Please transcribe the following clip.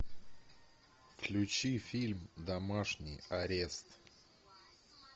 включи фильм домашний арест